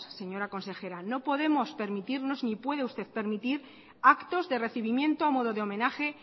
señora consejera no podemos permitirnos ni puede usted permitir actos de recibimiento a modo de homenaje